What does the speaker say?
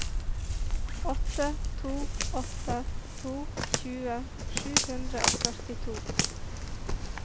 åtte to åtte to tjue sju hundre og førtito